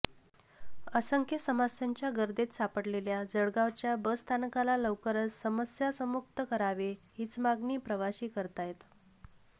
असंख्य समस्यांच्या गर्तेत सापडलेल्या जळगावच्या बसस्थानकाला लवकरच समस्यासमुक्त करावे हीच मागणी प्रवासी करतायत